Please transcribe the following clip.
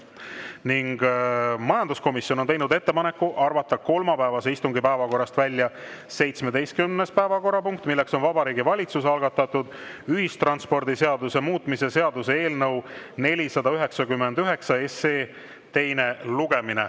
Ning majanduskomisjon on teinud ettepaneku arvata kolmapäevase istungi päevakorrast välja 17. päevakorrapunkt, milleks on Vabariigi Valitsuse algatatud ühistranspordiseaduse muutmise seaduse eelnõu 499 teine lugemine.